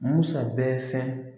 Musa bɛɛ fɛ